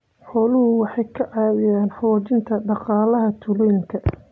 Xooluhu waxay ka caawiyaan xoojinta dhaqaalaha tuulooyinka.